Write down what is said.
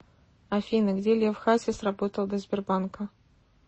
афина где лев хасис работал до сбербанка